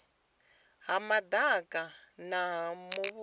ha madaka a muvhuso nga